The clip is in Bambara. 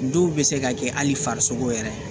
Dɔw bɛ se ka kɛ hali farisogo yɛrɛ ye